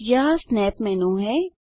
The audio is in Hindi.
यह स्नैप मेन्यू है